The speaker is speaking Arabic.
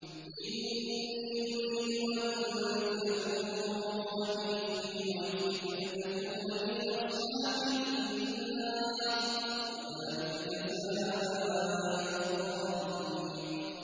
إِنِّي أُرِيدُ أَن تَبُوءَ بِإِثْمِي وَإِثْمِكَ فَتَكُونَ مِنْ أَصْحَابِ النَّارِ ۚ وَذَٰلِكَ جَزَاءُ الظَّالِمِينَ